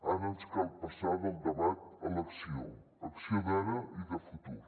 ara ens cal passar del debat a l’acció acció d’ara i de futur